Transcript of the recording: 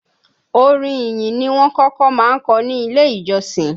Orin ìyìn ni wọ́n kọ́kọ́ máa ń kọ ní Ilé-ìjọsìn